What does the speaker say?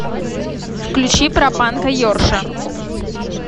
включи про панка йорша